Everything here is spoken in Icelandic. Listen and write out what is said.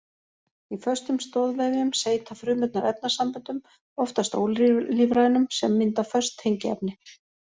Í föstum stoðvefjum seyta frumurnar efnasamböndum, oftast ólífrænum, sem mynda föst tengiefni.